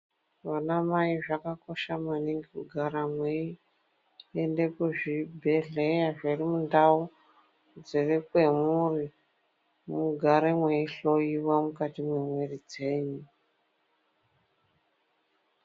Vana mai zvakakosha maningi kugara muchienda kuzvibhedhlera zviri mundau zviri kwamuri mugare meihloiwa mukati memwiri dzenyu.